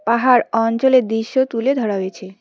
পাহাড় অঞ্চলের দৃশ্য তুলে ধরা হয়েছে।